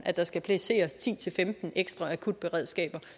at der skal placeres ti til femten ekstra akutberedskaber